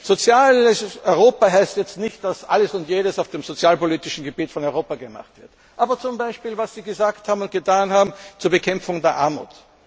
Soziales Europa heißt nicht, dass alles und jedes auf dem sozialpolitischen Gebiet von Europa gemacht wird, aber zum Beispiel was Sie gesagt und getan haben zur Bekämpfung der Armut.